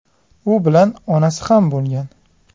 U bilan onasi ham bo‘lgan.